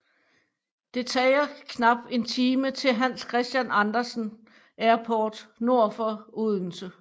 Det tager knap en time til Hans Christian Andersen Airport nord for Odense